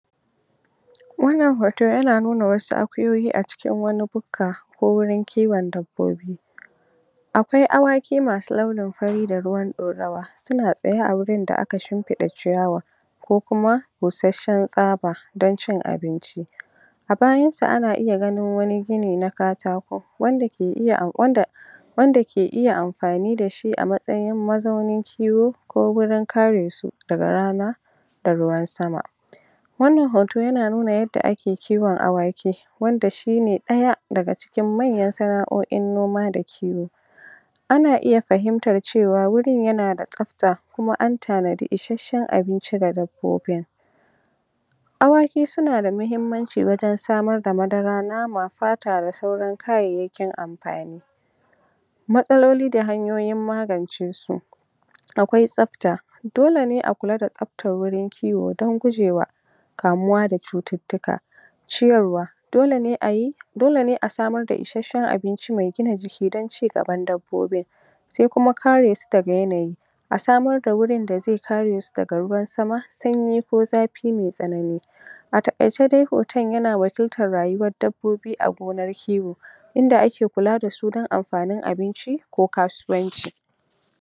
Wanna hoto yana nuna wasu akuyoyi a cikin wani bukka ko wurin kiwon dabbobi akwai awaki masu launin fari da ruwan ɗorawa suna tsaye a wurin da aka shimfiɗa ciyawa ko kuma bushasshen tsaba don cin abinci a bayan su ana iya ganin wanigini na katako wanda ke ioya wanda wanda ke iya amfani dashi a matsayin mazaunin kiwo don karesu ko wurin kare su daga rana da ruwan sama wannan hoto yana nuna yadda ake kiwon awaki wanda shine ɗaya daga cikin manyan sana'o'in noma da kiwo ana iya fahimtar cewa wurin yana da tsafta kuma an tanadi ishasshen abinci daga ko'ina awaki sunada mahimmanci wajen samarda madara, nama, fata da sauran kayayyakin amfani matsoli da hanyoyin magance su akwai tsafta dole ne a kula da tsaftar wurin kiwo don gujewa kamuwa da cututtuka ciyarwa dole ne ayi, dole ne a samar da ishasshen abinci mai gina jiki don cigaban dabbobin sai kuma karesu daga yanayi a samar da wurin da zai karesu daga ruwan sama, sanyi ko zafi mai tsanani a taƙaice dai hoton yana wakiltar rayuwar dabbobi a wurin kiwo inda ake kula dasu don amfanin abinci ko kasuwanci